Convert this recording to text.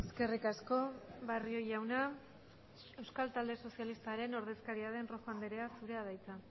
eskerrik asko barrio jauna euskal talde sozialistaren ordezkaria den rojo andrea zurea da hitza